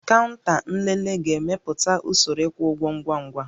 Kaụnta nlele ga-emepụta usoro ịkwụ ụgwọ ngwa ngwa